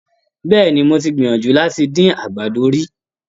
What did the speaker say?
Bẹ́ẹ̀ni, mo ti gbìyànjú láti dín àgbàdo rí.